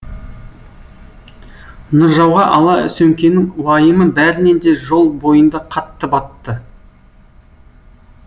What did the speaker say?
нұржауға ала сөмкенің уайымы бәрінен де жол бойында қатты батты